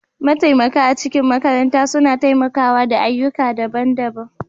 Mataimaka a cikin makaranta suna taimakawa da ayyuka daban-daban